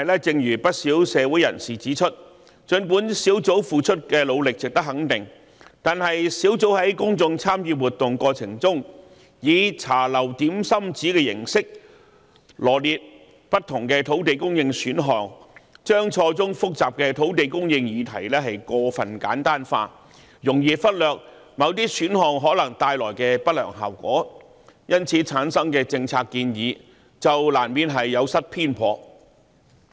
正如不少社會人士指出，儘管專責小組付出的努力值得肯定，但專責小組在公眾參與活動中，以"茶樓點心紙"的形式羅列不同的土地供應選項，將錯綜複雜的土地供應議題過分簡單化，容易忽略某些選項可能帶來的不良後果，由此產生的政策建議就難免有失偏頗。